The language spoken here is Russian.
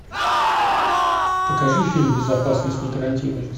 покажи фильм безопасность не гарантируется